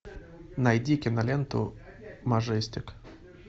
найди киноленту мажестик